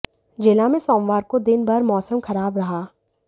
जिला में सोमवार को दिन भर मौसम खराब रहा